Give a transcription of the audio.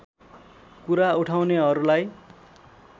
कुरा उठाउनेहरूलाई